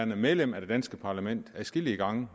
medlem af det danske parlament adskillige gange